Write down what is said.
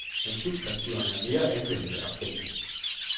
Men substantiverne er mere anvendte og kendte.